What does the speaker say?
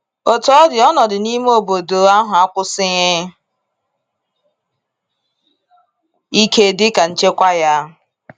Otú ọ dị, ọnọdụ n’ime obodo obodo ahụ akwusighi ike dịka nchekwa ya.